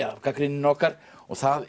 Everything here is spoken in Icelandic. gagnrýninni okkar það